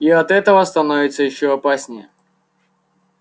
и от этого становится ещё опаснее